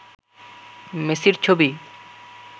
মেসির ছবি